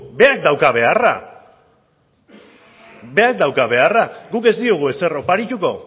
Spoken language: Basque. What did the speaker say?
berak dauka beharra berak dauka beharra guk ez diogu ezer oparituko